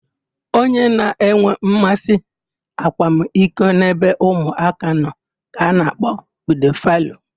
Onye na-enwe mmasị akwamiko n'ebe ụmụaka nọ ka a na-akpọ pidofaịlụ.